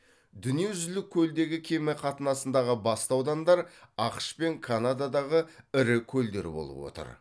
дүние жүзілік көлдегі кеме қатынасындағы басты аудандар ақш пен канададағы ірі көлдер болып отыр